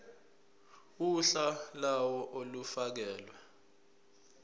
uhla lawo olufakelwe